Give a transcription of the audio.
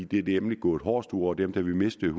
det er nemlig gået hårdest ud over dem da vi mistede